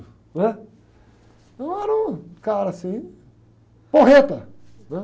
não é? Eu era um cara assim, porreta.